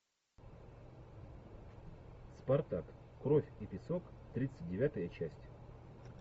спартак кровь и песок тридцать девятая часть